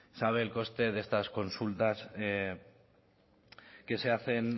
sabe el coste de estas consultas que se hacen